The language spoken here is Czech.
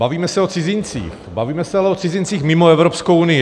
Bavíme se o cizincích, bavíme se ale o cizincích mimo Evropskou unii.